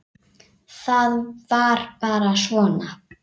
Það var bara svona.